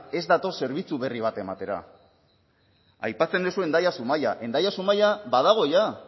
ez dator zerbitzu berri bat ematera aipatzun duzu hendaia zumaia hendaia zumaia badago ja